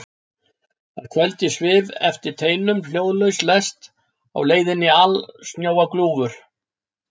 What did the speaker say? Að kvöldi svif eftir teinum hljóðlaus lest á leið inní alsnjóa gljúfur.